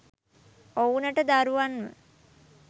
ඔවුනට දරුවන්ව